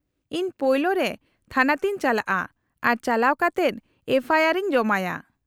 -ᱤᱧ ᱯᱳᱭᱞᱳ ᱨᱮ ᱛᱷᱟᱱᱟ ᱛᱮᱧ ᱪᱟᱞᱟᱜᱼᱟ, ᱟᱨ ᱪᱟᱞᱟᱣ ᱠᱟᱛᱮᱫ ᱮᱯᱷᱚ ᱟᱭ ᱟᱨ ᱤᱧ ᱡᱚᱢᱟᱭᱟ ᱾